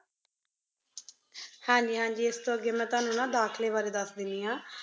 ਹਾਂ ਜੀ, ਹਾਂ ਜੀ, ਇਸ ਤੋਂ ਅੱਗੇ ਮੈਂ ਤੁਹਾਨੂੰ ਨਾ ਦਾਖਲੇ ਬਾਰੇ ਦੱਸ ਦਿੰਦੀ ਹਾਂ।